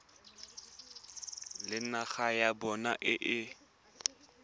le naga ya bona e